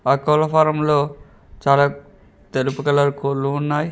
ఆ కోళ్ల ఫారం లో చాలా తెలుపుగల కోళ్ళు ఉన్నాయి.